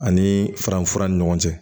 Ani faranfa ni ɲɔgɔn cɛ